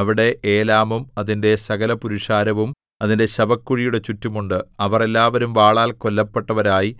അവിടെ ഏലാമും അതിന്റെ സകലപുരുഷാരവും അതിന്റെ ശവക്കുഴിയുടെ ചുറ്റും ഉണ്ട് അവർ എല്ലാവരും വാളാൽ കൊല്ലപ്പെട്ടവരായി